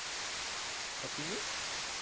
তা, তুমি?